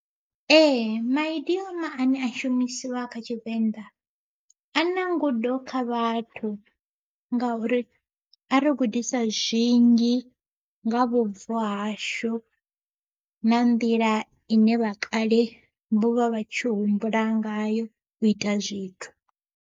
Ee maidioma ane a shumisiwa kha tshivenḓa a na ngudo kha vhathu, nga uri a ri gudisa zwinzhi nga vhubvo hashu na nḓila ine vha kale vho vha vha tshi humbula ngayo u ita zwithu.